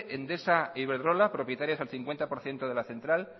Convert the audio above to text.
endesa e iberdrola propietarias al cincuenta por ciento de la central